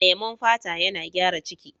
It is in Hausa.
Lemon fata yana gyara ciki.